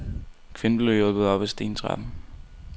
Kvinden blev hjulpet op ad stentrappen.